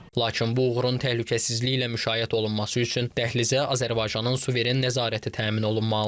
Lakin bu uğurun təhlükəsizliyi ilə müşayiət olunması üçün dəhlizə Azərbaycanın suveren nəzarəti təmin olunmalıdır.